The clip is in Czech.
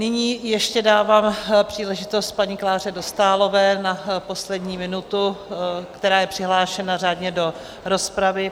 Nyní ještě dávám příležitost paní Kláře Dostálové na poslední minutu, která je přihlášena řádně do rozpravy.